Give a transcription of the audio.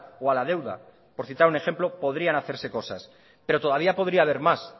o a la deuda por citar un ejemplo podrían hacerse cosas pero todavía podría haber más